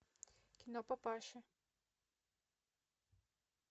кино папаши